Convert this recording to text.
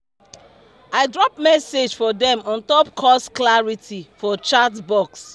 i drop message for dem on top course clarity for the chatbox